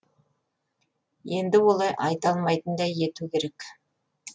енді олай айта алмайтындай ету керек